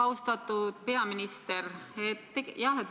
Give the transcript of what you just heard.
Austatud peaminister!